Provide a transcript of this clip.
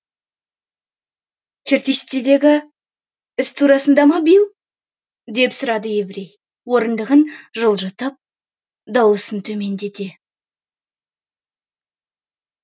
чертсидегі іс турасында ма билл деп сұрады еврей орындығын жылжытып даусын төмендете